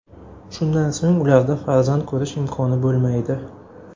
Shundan so‘ng ularda farzand ko‘rish imkoni bo‘lmaydi.